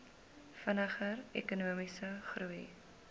vinniger ekonomiese groei